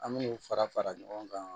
An min'u fara fara ɲɔgɔn kan